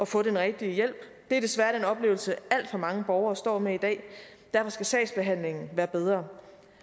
få den rigtige hjælp det er desværre den oplevelse alt for mange borgere står med i dag og derfor skal sagsbehandlingen være bedre